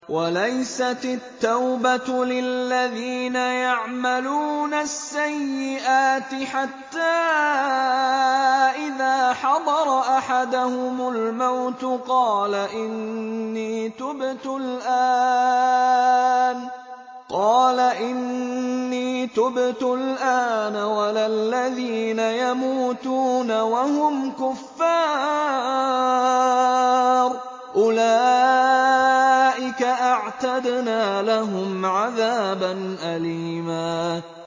وَلَيْسَتِ التَّوْبَةُ لِلَّذِينَ يَعْمَلُونَ السَّيِّئَاتِ حَتَّىٰ إِذَا حَضَرَ أَحَدَهُمُ الْمَوْتُ قَالَ إِنِّي تُبْتُ الْآنَ وَلَا الَّذِينَ يَمُوتُونَ وَهُمْ كُفَّارٌ ۚ أُولَٰئِكَ أَعْتَدْنَا لَهُمْ عَذَابًا أَلِيمًا